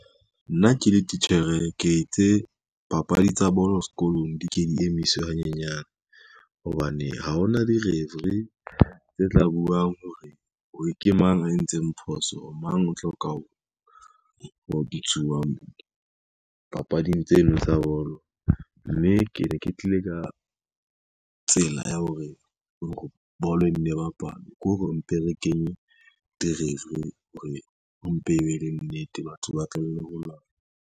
Nna ke le titjhere, ke itse papadi tsa bolo sekolong di ke di emiswe hanyenyane, hobane ha hona di-referee tse tla buang hore ke mang a entseng phoso mang, o tlo ka papading tseno tsa bolo, mme ke ne ke tlile ka tsela ya hore bolo e nne e bapalwe ke hore re mpe re kenye di-referee hore, ho mpe ho be le nnete batho ba tlowele ho lwana.